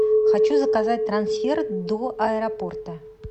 хочу заказать трансфер до аэропорта